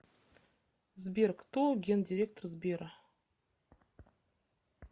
сбер кто гендиректор сбера